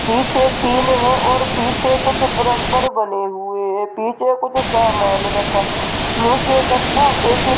पीछे टिन है पीछे कुछ परंपर बने हुए हैं पीछे कुछ सामान रखा नीचे गत्ता -पेटी --